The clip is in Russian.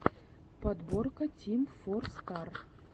подборка тим фор стар